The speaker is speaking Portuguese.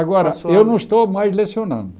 Agora O senhor, Eu não estou mais lecionando.